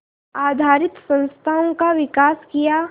आधारित संस्थाओं का विकास किया